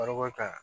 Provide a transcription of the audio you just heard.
Baroko kan